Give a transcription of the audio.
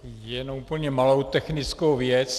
Jenom úplně malou technickou věc.